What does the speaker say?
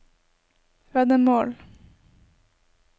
veddemål